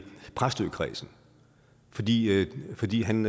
præstøkredsen fordi fordi han